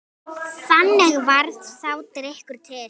Þannig varð sá drykkur til.